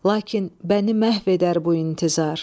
Lakin məni məhv edər bu intizar.